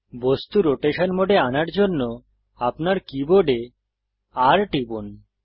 বস্তু রোটেশন মোডে আনার জন্য আপনার কীবোর্ডে R টিপুন